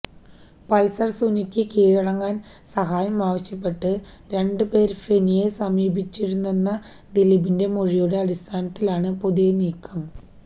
Pulsar സുനിക്ക് കീഴടങ്ങാന് സഹായം ആവശ്യപ്പെട്ട് രണ്ടു പേര് ഫെനിയെ സമീപിച്ചിരുന്നെന്ന ദിലീപിന്റെ മൊഴിയുടെ അടിസ്ഥാനത്തിലാണ് പുതിയ നീക്കം